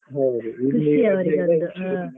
ಹೌದು .